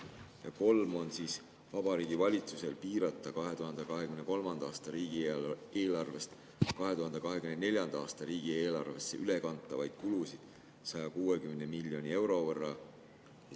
Number 3 on, et Vabariigi Valitsusel piirata 2023. aasta riigieelarvest 2024. aasta riigieelarvesse ülekantavaid kulusid 160 miljoni euro võrra.